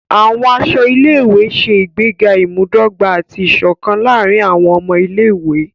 Àwọn aṣọ ilé-ìwé ṣe ìgbéga imudogba ati iṣọkan láàrin awọn ọmọ Ilé-ìwé.